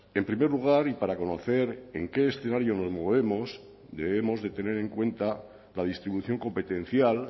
en primer lugar y para conocer en qué escenario nos movemos debemos de tener en cuenta la distribución competencial